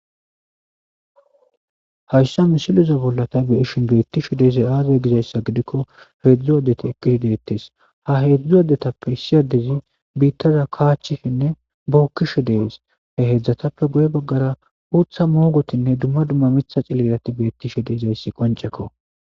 Hayssa misileza bolla ta beyishin bettishe dizayssi aazee gizayssa gidikko hedzdzu addettikka de'ettes ha hedzdzu addettappe issi addezi biittaza kaachchishenne bookishe de'es hedzdzatappe guye baggara uuththa mooggotinne dumma dumma miiththa ciililati bettishe de'izayssi qonccekko.